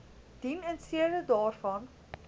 dien instede daarvan